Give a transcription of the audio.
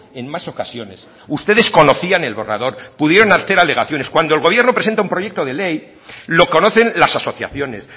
en más ocasiones ustedes conocían el borrador pudieron hacer alegaciones cuando el gobierno presenta un proyecto de ley lo conocen las asociaciones